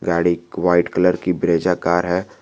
गाड़ी एक white colour की ब्रेजा कार है।